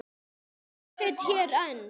Og ég sit hér enn.